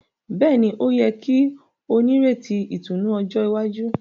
Béèni, o yẹ kí o n'ireti ìtùnú ọjọ iwájú